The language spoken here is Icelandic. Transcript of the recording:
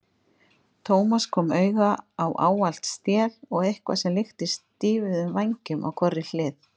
Thomas kom auga á ávalt stél og eitthvað sem líktist stýfðum vængjum á hvorri hlið.